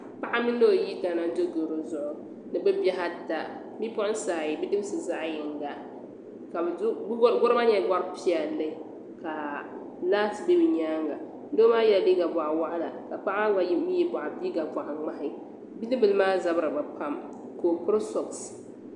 Paɣa mini o yidana n do garɔ zuɣu ni bɛ bihi ata bipuɣiŋsaayi bidibisi zaɣyiŋga gɔro maa nyɛla gɔri piɛlli ka laati biɛ bɛ nyaaŋa doo maa yela liiga bɔɣu waɣila ka paɣa maa mi ye liiga bɔɣu ŋmahi bidibila maa zabiri bɛ pam ka o peri sogisi.